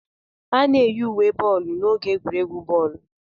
A na-eyi uwe boolu n'oge egwuregwu bọọlụ.